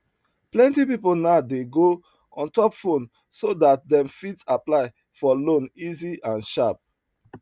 plenty people now dey go ontop phone so that dem fit apply for loan easy and sharp